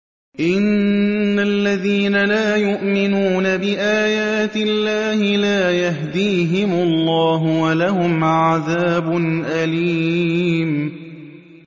إِنَّ الَّذِينَ لَا يُؤْمِنُونَ بِآيَاتِ اللَّهِ لَا يَهْدِيهِمُ اللَّهُ وَلَهُمْ عَذَابٌ أَلِيمٌ